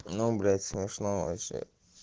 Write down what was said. набрать смешно вообще